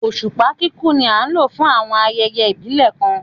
Oṣupa kikun ni a lo fun awọn ayẹyẹ ibile kan